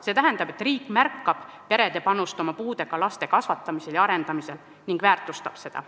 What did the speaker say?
See tähendab, et riik märkab perede panust oma puudega laste kasvatamisel ja arendamisel ning väärtustab seda.